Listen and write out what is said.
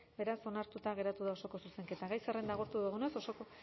beraz onartuta geratu da osoko zuzenketa gai zerrenda agortu dugunez osoko